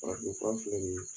Farafin fura filɛ nin ye